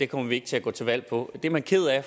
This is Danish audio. kommer vi ikke til at gå til valg på det er man ked af